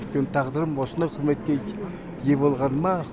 өйткені тағдырым осындай құрметке ие болғаныма